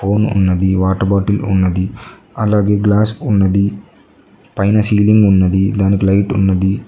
Phone ఉన్నది water bottle ఉన్నది అలాగే గ్లాస్ ఉన్నది పైన సీలింగ్ ఉన్నది దానికి లైట్ ఉన్నది.